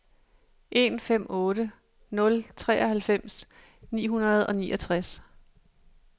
en fem otte nul treoghalvfems ni hundrede og niogtres